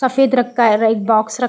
सफ़ेद रंग का बॉक्स रख --